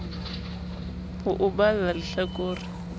ho o balla lehla kore